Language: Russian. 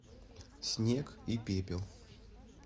снег и пепел